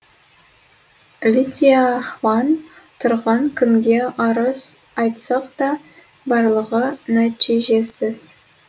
лидия хван тұрғын кімге арыз айтсақ та барлығы нәтижесіз